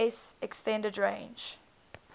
s extended range